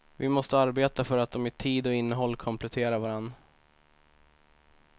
Vi måste arbeta för att de i tid och innehåll kompletterar varandra.